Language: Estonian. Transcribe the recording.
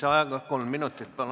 Lisaaega kolm minutit, palun!